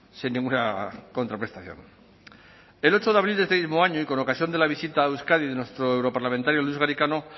sin ninguna contraprestación el ocho de abril de este mismo año y con ocasión de la visita a euskadi de nuestro europarlamentarios luis garicano